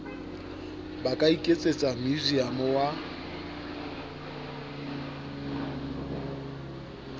ba ka iketsetsa meusiamo wa